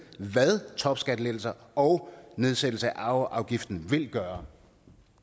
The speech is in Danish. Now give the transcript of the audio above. hvad topskattelettelser og nedsættelse af arveafgiften vil gøre